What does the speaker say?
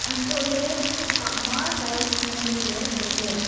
hantoh ley hahma tiles nam ley ley tai ley.